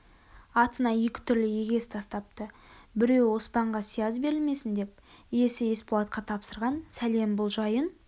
артына екі түрлі егес тастапты біреуі оспанға сияз берілмесін деп иісі есболатқа тапсырған сәлем бұл жайын